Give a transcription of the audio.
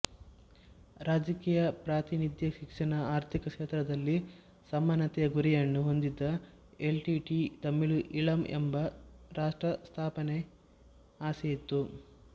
ರಾಜಕೀಯ ಪ್ರಾತಿನಿಧ್ಯ ಶಿಕ್ಷಣ ಆರ್ಥಿಕ ಕ್ಷೇತ್ರದಲ್ಲಿ ಸಮಾನತೆಯ ಗುರಿಯನ್ನು ಹೊಂದಿದ ಎಲ್ಟಿಟಿಇ ತಮಿಳು ಈಳಂ ಎಂಬ ರಾಷ್ಟ್ರಸ್ಥಾಪನೆಯ ಆಸೆಯಿತ್ತು